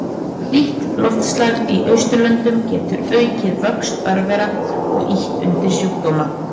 Hlýtt loftslag í Austurlöndum getur aukið vöxt örvera og ýtt undir sjúkdóma.